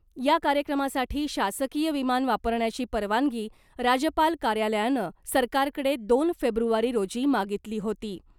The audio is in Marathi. या कार्यक्रमासाठी शासकीय विमान वापरण्याची परवानगी राजपाल कार्यालयानं सरकारकडे दोन फेब्रुवारी रोजी मागितली होती .